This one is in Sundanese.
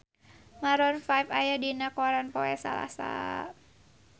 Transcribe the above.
Maroon 5 aya dina koran poe Salasa